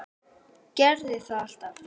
Gerði það alltaf.